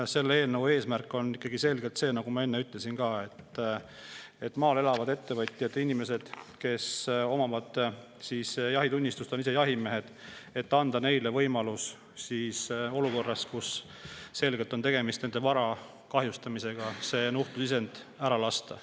Selle eelnõu eesmärk on, nagu ma enne ütlesin, anda maal elavatele ettevõtjatele, inimestele, kes omavad jahitunnistust, on ise jahimehed, võimalus olukorras, kus on selgelt tegemist nende vara kahjustamisega, nuhtlusisend maha lasta.